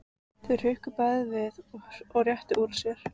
Þau hrukku bæði við og réttu úr sér.